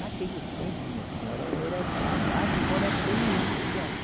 Naquele tempo, minha senhora, era, era, agora tem muito gado.